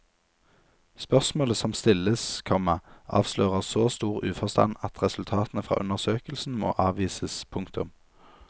Spørsmålet som stilles, komma avslører så stor uforstand at resultatene fra undersøkelsen må avvises. punktum